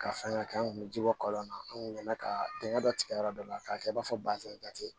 Ka fɛnkɛ an kun be ji bɔ kɔlɔn na an kun bɛna ka dingɛ dɔ tigɛ yɔrɔ dɔ la k'a kɛ i b'a fɔ basɛnda tɛ